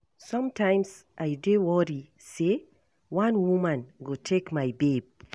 Sometimes I dey worry say one woman go take my babe